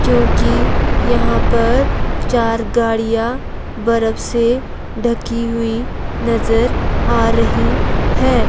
क्योंकि यहां पर चार गाड़ियां बर्फ से ढकी हुई नजर आ रही है।